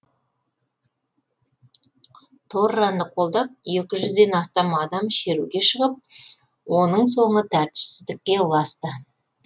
торраны қолдап екі жүзден астам адам шеруге шығып оның соңы тәртіпсіздікке ұласты